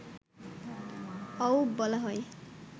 অউব বলা হয়